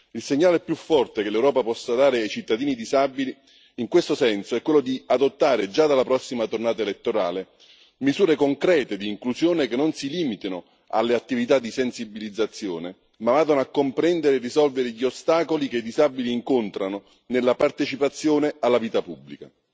Il segnale più forte che l'Europa possa dare ai cittadini disabili, in questo senso, è quello di adottare già dalla prossima tornata elettorale misure concrete di inclusione, che non si limitano alle attività di sensibilizzazione ma vadano a comprendere e risolvere gli ostacoli che i disabili incontrano nella partecipazione alla vita pubblica.